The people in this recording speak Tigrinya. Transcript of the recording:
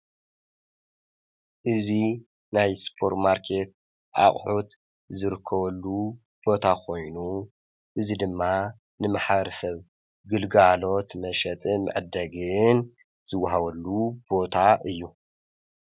እዚ ናይ ሱፐርማርኬት አቑሑት ዝርከብሉ ቦታ ኮይኑ፤ እዚ ድማ ንማሕበረ ሰብ ግልጋሎት መሸጥን መዐደግን ዝወሃበሉ ቦታ እዩ፡፡